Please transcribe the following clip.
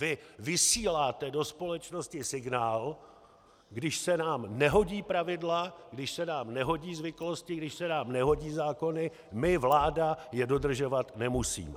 Vy vysíláte do společnosti signál: když se nám nehodí pravidla, když se nám nehodí zvyklosti, když se nám nehodí zákony, my, vláda je dodržovat nemusíme.